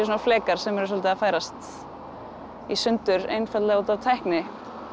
flekar sem eru svolítið að færast í sundur einfaldlega út af tækni